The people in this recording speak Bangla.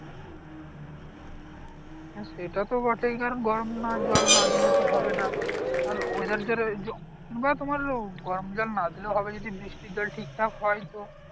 হ্যাঁ সেটা তো বটেই কারণ গরম না জল না দিলে তো হবে না আর . এই যে বা তোমার গরম জল না দিলেও হবে যদি বৃষ্টির জল ঠিকঠাক হয় তো